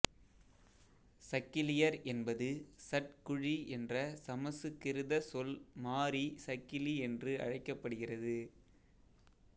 சக்கிலியர் என்பது ஸ்சட்குழி என்ற சமசுகிருத சொல் மாறி சக்கிலி என்று அழைக்கப்படுகிறது